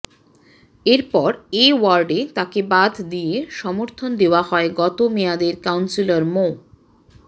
এরপর এ ওয়ার্ডে তাকে বাদ দিয়ে সমর্থন দেওয়া হয় গত মেয়াদের কাউন্সিলর মো